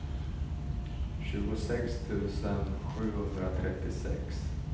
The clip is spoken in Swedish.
tjugosex tusen sjuhundratrettiosex